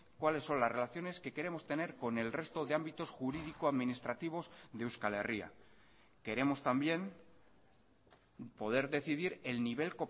cuáles son las relaciones que queremos tener con el resto de ámbitos jurídico administrativos de euskal herria queremos también poder decidir el nivel